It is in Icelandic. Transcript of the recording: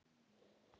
Verður góð saga.